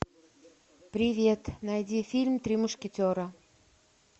привет найди фильм три мушкетера